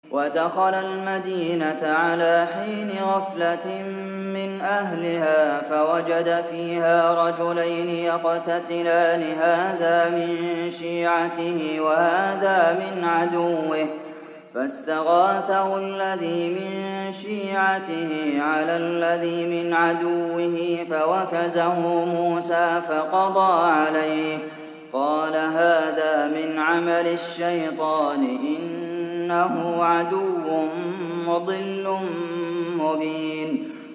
وَدَخَلَ الْمَدِينَةَ عَلَىٰ حِينِ غَفْلَةٍ مِّنْ أَهْلِهَا فَوَجَدَ فِيهَا رَجُلَيْنِ يَقْتَتِلَانِ هَٰذَا مِن شِيعَتِهِ وَهَٰذَا مِنْ عَدُوِّهِ ۖ فَاسْتَغَاثَهُ الَّذِي مِن شِيعَتِهِ عَلَى الَّذِي مِنْ عَدُوِّهِ فَوَكَزَهُ مُوسَىٰ فَقَضَىٰ عَلَيْهِ ۖ قَالَ هَٰذَا مِنْ عَمَلِ الشَّيْطَانِ ۖ إِنَّهُ عَدُوٌّ مُّضِلٌّ مُّبِينٌ